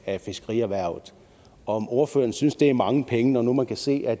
af fiskerierhvervet om ordføreren synes at det er mange penge når man kan se at